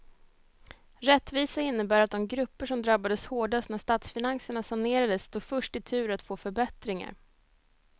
Rättvisa innebär att de grupper som drabbades hårdast när statsfinanserna sanerades står först i tur att få förbättringar.